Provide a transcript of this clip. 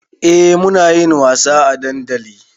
Eh munayin wasa a dandali